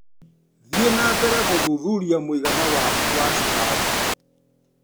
Thiĩ na mbere gũthuthuria mũigana waku wa cukari .